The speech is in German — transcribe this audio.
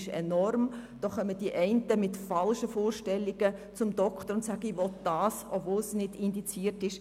Die einen kommen mit falschen Vorstellungen zum Arzt und wollen eine bestimmte Behandlung, obwohl diese nicht indiziert ist.